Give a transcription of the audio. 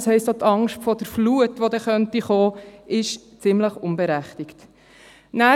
Das heisst, dass auch die Angst vor der Flut, die kommen könnte, ziemlich unberechtigt ist.